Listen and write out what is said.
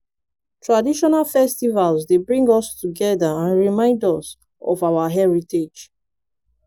traditional festivals dey bring us together and remind us of our heritage.